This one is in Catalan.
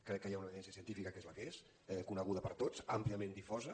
crec que hi ha una evidència científica que és la que és coneguda per tots àmpliament difosa